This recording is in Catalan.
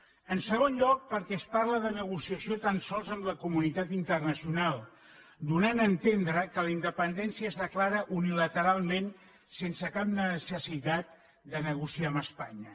en segon lloc perquè es parla de negociació tan sols amb la comunitat internacional i es dóna a entendre que la independència es declara unilateralment sense cap necessitat de negociar amb espanya